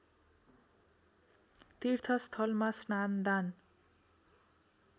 तीर्थस्थलमा स्नान दान